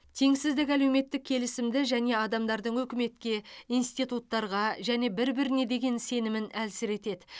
теңсіздік әлеуметтік келісімді және адамдардың үкіметке институттарға және бір біріне деген сенімін әлсіретеді